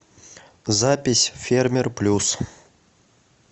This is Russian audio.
запись фермер плюс